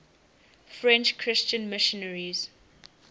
french christian missionaries